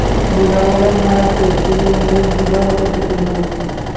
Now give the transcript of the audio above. বুজাবলে মই আছোহি কিন্তু মোক বুজোৱা সময়ত যে কোনোৱে নাছিলে